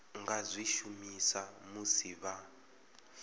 nga zwi shumisa musi vha